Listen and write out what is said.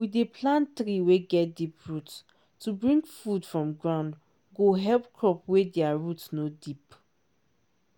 we dey plant tree wey get deep root to bring food from ground go help crop wey dia root no deep.